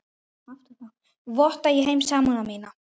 Votta ég þeim samúð mína.